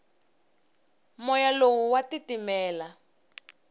moya lowu wa titimela